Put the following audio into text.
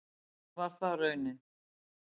Var það raunin?